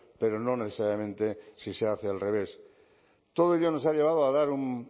pero no necesariamente si se hace al revés todo ello nos ha llevado a dar